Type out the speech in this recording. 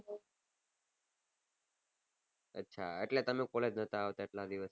અચ્છા એટલે તમે collage લે નતા આવતા આટલા દિવસ થી